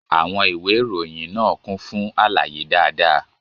Àwọn ìwé ìròyìn náà kún fún àlàyé dáadáa.